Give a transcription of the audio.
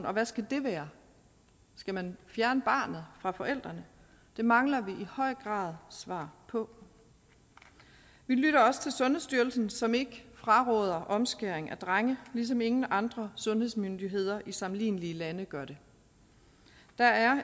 og hvad skal det være skal man fjerne barnet fra forældrene det mangler vi i høj grad svar på vi lytter også til sundhedsstyrelsen som ikke fraråder omskæring af drenge ligesom ingen andre sundhedsmyndigheder i sammenlignelige lande gør det der er